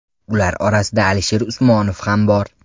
Ular orasida Alisher Usmonov ham bor.